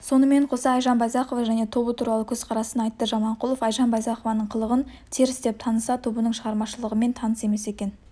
сонымен қоса айжан байзақова және тобы туралы көзқарасын айтты жаманқұлов айжан байзақованың қылығын теріс деп таныса тобының шығармашылығымен таныс емес екен